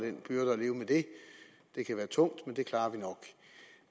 det kan være tungt men det klarer vi nok